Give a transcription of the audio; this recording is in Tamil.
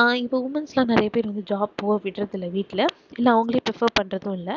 ஆஹ் இப்போ womens லாம் நிறைய பேர் வந்து job போக விடுறது இல்ல வீட்டுல. இல்ல அவங்களே prefer பண்றதும் இல்லை